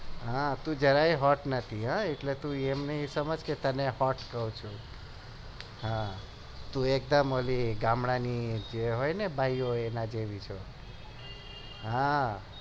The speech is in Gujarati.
હા તું જ્યાર hot નથી એટલે તું એમ નહિ સમજ કે તને hot કે છે તું એકદમ ગામડાની જે હોય બાઈડીઓં એમના જેવી છે